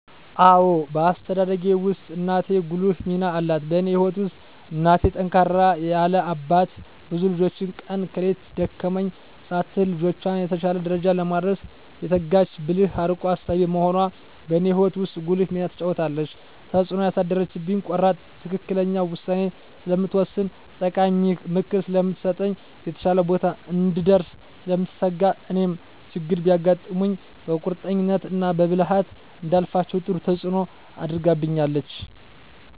አዎ በአስተዳደጌ ውስጥ እናቴ ጉልህ ሚና አላት በእኔ ህይወት ውስጥ እናቴ ጠንካራ ያለ አባት ብዙ ልጆችን ቀን ከሌት ደከመኝ ሳትል ልጆቿን የተሻለ ደረጃ ለማድረስ የተጋች ብልህ አርቆ አሳቢ በመሆኗ በእኔ ህይወት ውስጥ ጉልህ ሚና ተጫውታለች። ተፅእኖ ያሳደረችብኝ ቆራጥ ትክክለኛ ውሳኔ ስለምትወስን ጠቃሚ ምክር ስለምትሰጥ፣ የተሻለ ቦታ እንድንደርስ ስለምትተጋ እኔም ችግሮች ቢያጋጥሙኝ በቁርጠኝነት እና በብልሀት እንዳልፋቸው ጥሩ ተፅኖ አድርጋብኛለች።